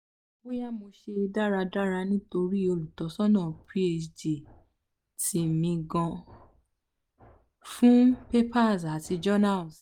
boya mo se daradara nitori olutosana phd ti mi gan fun papers ati journals